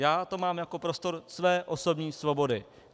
Já to mám jako prostor své osobní svobody.